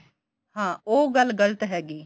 ਹਾਂ ਉਹ ਗੱਲ ਗਲਤ ਹੈਗੀ